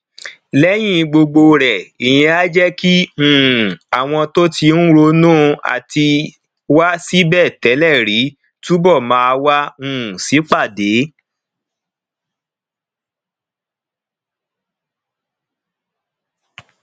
lẹyìn gbogbo rẹ ìyẹn á jé kí um àwọn tó ti ń ronú àtiwá síbè télè rí túbò máa wá um sípàdé